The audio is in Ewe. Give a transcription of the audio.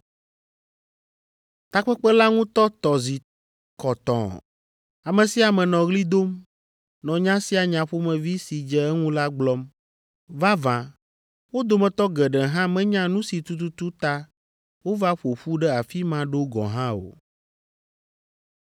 Takpekpe la ŋutɔ tɔ zi kɔtɔɔ. Ame sia ame nɔ ɣli dom, nɔ nya sia nya ƒomevi si dze eŋu la gblɔm. Vavã, wo dometɔ geɖe hã menya nu si tututu ta wova ƒo ƒu ɖe afi ma ɖo gɔ̃ hã o.